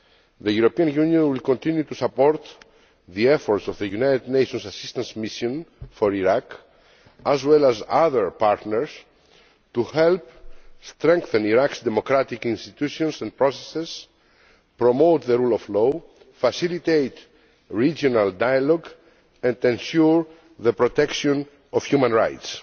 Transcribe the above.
The European Union will continue to support the efforts of the United Nations Assistance Mission for Iraq, as well as other partners, to help strengthen Iraq's democratic institutions and processes, promote the rule of law, facilitate regional dialogue and to ensure the protection of human rights.